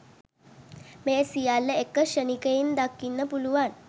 මේ සියල්ල එක ක්ෂණයකින් දකින්න පුළුවන්.